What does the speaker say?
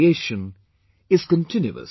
creation is continuous